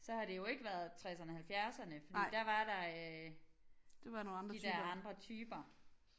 Så har det jo ikke været tresserne halvfjerdserne fordi der var der øh de der andre typer